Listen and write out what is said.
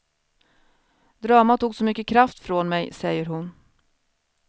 Dramat tog så mycket kraft från mig, säger hon.